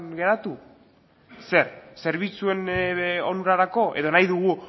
geratu zer zerbitzuen onurarako edo nahi dugu